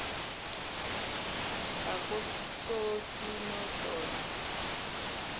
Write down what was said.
zakososinodolo